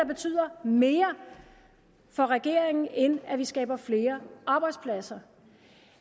betyder mere for regeringen end at vi skaber flere arbejdspladser